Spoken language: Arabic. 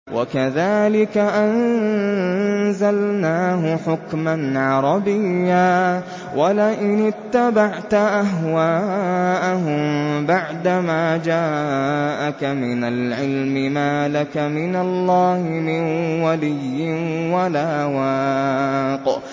وَكَذَٰلِكَ أَنزَلْنَاهُ حُكْمًا عَرَبِيًّا ۚ وَلَئِنِ اتَّبَعْتَ أَهْوَاءَهُم بَعْدَمَا جَاءَكَ مِنَ الْعِلْمِ مَا لَكَ مِنَ اللَّهِ مِن وَلِيٍّ وَلَا وَاقٍ